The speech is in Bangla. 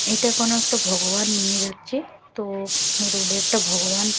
এটা কোনো একটা ভগবান নিয়ে যাচ্ছে তো রোড -এ একটা ভগবান--